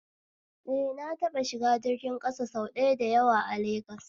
Eh, na taɓa shiga jirgin ƙasa sau da yawa a legas